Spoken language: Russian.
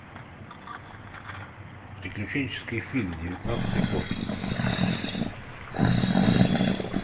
приключенческий фильм девятнадцатый год